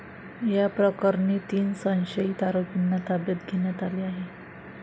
या प्रकरणी तीन संशयित आरोपींना ताब्यात घेण्यात आले आहे.